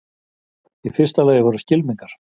Í fyrsta lagi voru skylmingar.